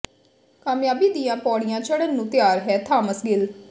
ਕਾਮਯਾਬੀ ਦੀਆਂ ਪੌੜੀਆਂ ਚੜ੍ਹਨ ਨੂੰ ਤਿਆਰ ਹੈ ਥਾਮਸ ਗਿੱਲ